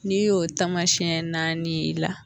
N'i y'o taamasiyɛn naani y'i la.